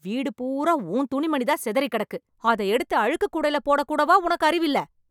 வீடு பூரா உன் துணிமணி தான சிதறி கிடக்கு, அத எடுத்து அழுக்குக் கூடைல போட கூடவா உனக்கு அறிவில்ல?